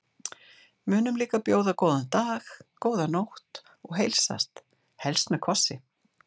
Munum líka að bjóða góðan dag, góða nótt og heilsast, helst með kossi.